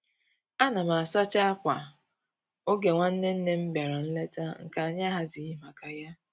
Ana m asacha akwà oge nwanne nne m bịara nlete nke anyị ahazighị maka ya